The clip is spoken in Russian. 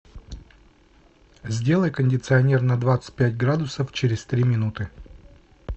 сделай кондиционер на двадцать пять градусов через три минуты